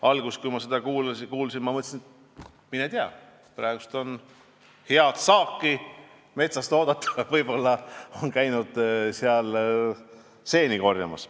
Alguses, kui ma seda kuulsin, ma mõtlesin, et mine tea, praegu on metsast head saaki oodata, võib-olla on nad käinud seeni korjamas.